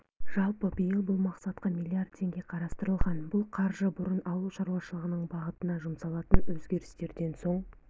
жалпы биыл бұл мақсатқа млрд теңге қарастырылған бұл қаржы бұрын ауыл шаруашылығының бағытына жұмсалатын өзгерістерден соң